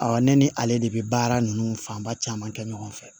ne ni ale de bɛ baara ninnu fanba caman kɛ ɲɔgɔn fɛ